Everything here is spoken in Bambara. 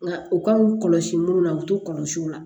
Nka u kan k'u kɔlɔsi munnu na u t'u kɔlɔsi o la